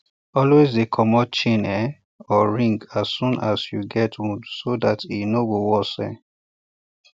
always dey comot chain um or ring as soon ass you get wound so that e um no worse um